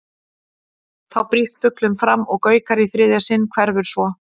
Þá brýst fuglinn fram og gaukar í þriðja sinn, hverfur svo.